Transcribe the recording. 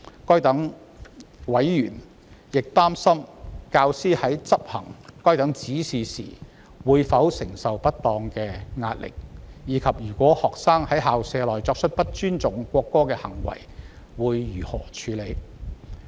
該等委員亦擔心，教師在執行該等指示時會否承受不當的壓力，以及若學生在校舍內作出不尊重國歌的行為，應如何處理。